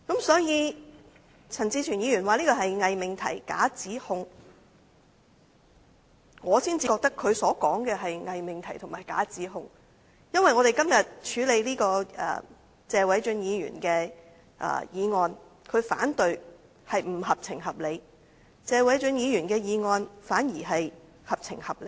所以，陳志全議員說這是偽命題、假指控，我認為他所說的才是偽命題和假指控，因為我們今天處理這項由謝偉俊議員提出的議案，陳志全議員提出反對才是不合情、不合理，反而謝偉俊議員的議案才是合情合理。